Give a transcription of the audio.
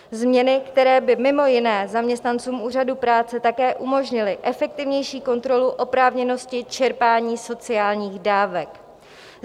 Změny, které by mimo jiné zaměstnancům úřadů práce také umožnily efektivnější kontrolu oprávněnosti čerpání sociálních dávek.